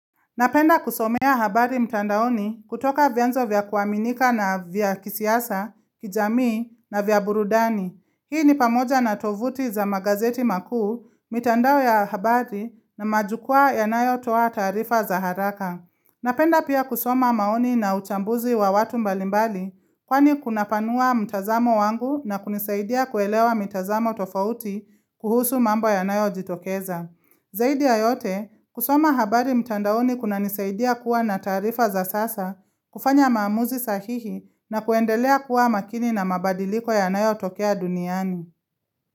Napenda kusomea habari mtandaoni kutoka vyenzo vya kuaminika na vya kisiasa, kijamii na vya burudani. Hii ni pamoja na tovuti za magazeti makuu, mitandao ya habari na majukua yanayotoa taarifa za haraka. Napenda pia kusoma maoni na uchambuzi wa watu mbalimbali kwani kunapanua mtazamo wangu na kunisaidia kuelewa mitazamo tofauti kuhusu mambo yanayojitokeza. Zaidi ya yote, kusoma habari mtandaoni kuna nisaidia kuwa na taarifa za sasa, kufanya maamuzi sahihi na kuendelea kuwa makini na mabadiliko yanayotokea duniani.